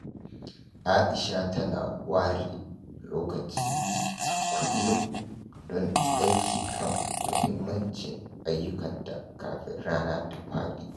Aisha tana ware lokaci a kullum don aiki kan muhimmancin ayyukanta kafin rana ta fadi.